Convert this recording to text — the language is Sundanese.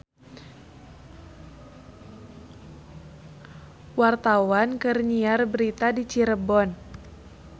Wartawan keur nyiar berita di Cirebon